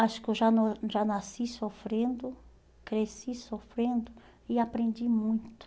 Acho que eu já nas já nasci sofrendo, cresci sofrendo e aprendi muito.